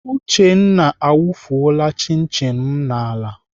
Uchenna awufuola chin chin m n'ala.